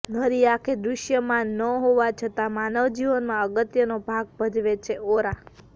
નરી આંખે દૃશ્યમાન ન હોવા છતાં માનવ જીવનમાં અગત્યનો ભાગ ભજવે છે ઓરા